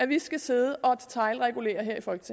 vi skal sidde og detailregulere